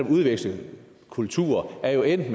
udveksle kultur er jo endt